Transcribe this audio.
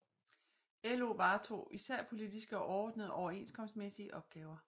LO varetog især politiske og overordnede overenskomstmæssige opgaver